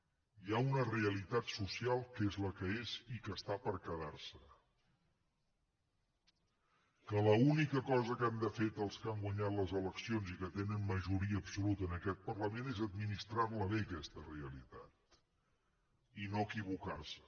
hi ha una realitat social que és la que és i que està per quedarse que l’única que han de fer els que han guanyat les eleccions i que tenen majoria absoluta en aquest parlament és administrarla bé aquesta realitat i no equivocarse